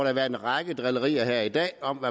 har været en række drillerier her i dag om